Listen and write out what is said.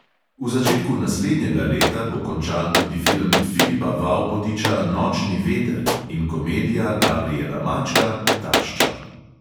V začetku naslednjega leta bo končan tudi film filipa vaupotiča nočni veter in komedija gabriela mačka tašča.